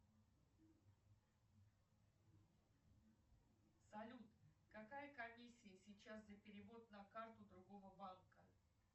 салют какая комиссия сейчас за перевод на карту другого банка